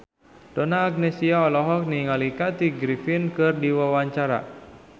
Donna Agnesia olohok ningali Kathy Griffin keur diwawancara